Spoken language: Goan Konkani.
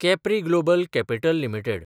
Capri Global Capital limited